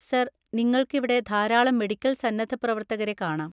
Sir, നിങ്ങൾക്ക് ഇവിടെ ധാരാളം മെഡിക്കൽ സന്നദ്ധ പ്രവർത്തകരെ കാണാം.